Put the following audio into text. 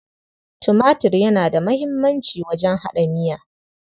Tumatir yana da muhimmanci wajen haɗa miya.